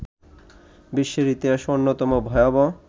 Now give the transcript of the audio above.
বিশ্বের ইতিহাসে অন্যতম ভয়াবহ